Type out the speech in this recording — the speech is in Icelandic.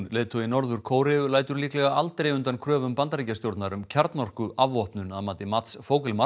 leiðtogi Norður Kóreu lætur líklega aldrei undan kröfum Bandaríkjastjórnar um kjarnorkuafvopnun að mati Mats